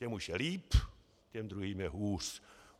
Těm už je líp, těm druhým je hůř.